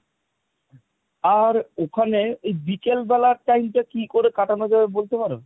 আর ওখানে এই বিকেল বেলার time টা কি করে কাটানো যাবে বলতে পারো?